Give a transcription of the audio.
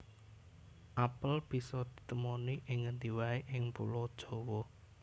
Apel bisa di temoni ing ngendi waé ing Pulo Jawa